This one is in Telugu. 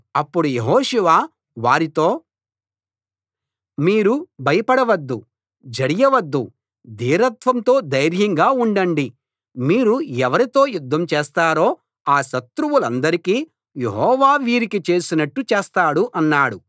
అప్పుడు యెహోషువ వారితో మీరు భయపడవద్దు జడియవద్దు ధీరత్వంతో ధైర్యంగా ఉండండి మీరు ఎవరితో యుద్ధం చేస్తారో ఆ శత్రువులందరికీ యెహోవా వీరికి చేసినట్టు చేస్తాడు అన్నాడు